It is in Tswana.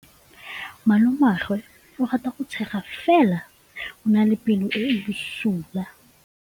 Malomagwe o rata go tshega fela o na le pelo e e bosula.